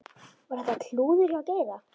Var þetta klúður hjá Geira?